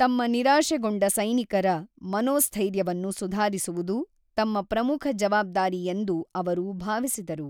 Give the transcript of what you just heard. ತಮ್ಮ ನಿರಾಶೆಗೊಂಡ ಸೈನಿಕರ ಮನೋಸ್ಥೈರ್ಯವನ್ನು ಸುಧಾರಿಸುವುದು ತಮ್ಮ ಪ್ರಮುಖ ಜವಾಬ್ದಾರಿ ಎಂದು ಅವರು ಭಾವಿಸಿದರು,